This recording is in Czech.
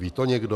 Ví to někdo?